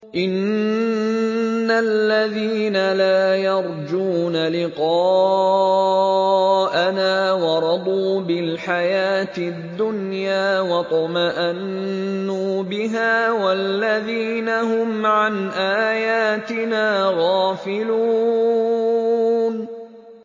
إِنَّ الَّذِينَ لَا يَرْجُونَ لِقَاءَنَا وَرَضُوا بِالْحَيَاةِ الدُّنْيَا وَاطْمَأَنُّوا بِهَا وَالَّذِينَ هُمْ عَنْ آيَاتِنَا غَافِلُونَ